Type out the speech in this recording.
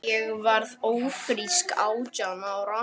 Ég varð ófrísk átján ára.